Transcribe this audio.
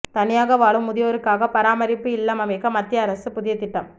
தனியாக வாழும் முதியோருக்காக பராமரிப்பு இல்லம் அமைக்க மத்திய அரசு புதிய திட்டம்